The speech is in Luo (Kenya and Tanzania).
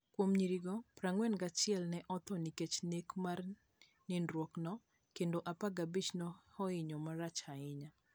Kuom nyirigo, 41 ne otho nikech nek mar nindruokno, kendo 15 ne ohinyo marach ahinya.